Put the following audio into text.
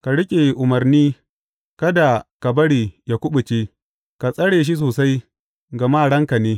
Ka riƙe umarni, kada ka bari yă kuɓuce; ka tsare shi sosai, gama ranka ne.